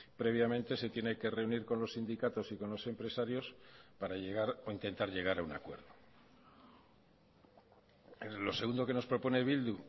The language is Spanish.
previamente se tiene que reunir con los sindicatos y con los empresarios para llegar o intentar llegar a un acuerdo lo segundo que nos propone bildu